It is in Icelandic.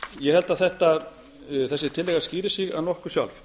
ég held að þessi tillaga skýri sig að nokkru sjálf